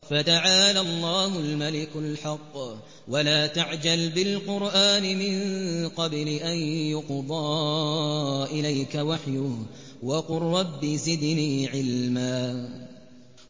فَتَعَالَى اللَّهُ الْمَلِكُ الْحَقُّ ۗ وَلَا تَعْجَلْ بِالْقُرْآنِ مِن قَبْلِ أَن يُقْضَىٰ إِلَيْكَ وَحْيُهُ ۖ وَقُل رَّبِّ زِدْنِي عِلْمًا